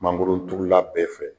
Mangoro turula bɛɛ fɛ.